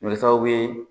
O bɛ kɛ sababu ye